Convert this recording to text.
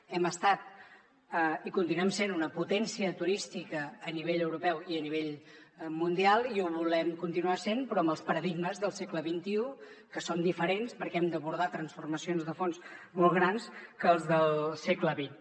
hem estat i continuem sent una potència turística a nivell europeu i a nivell mundial i ho volem continuar sent però amb els paradigmes del segle xxi que són diferents perquè hem d’abordar transformacions de fons molt més grans que les del segle xx